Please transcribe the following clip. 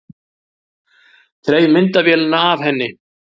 Þreif myndavélina af henni.